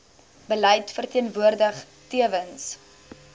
beleid verteenwoordig tewens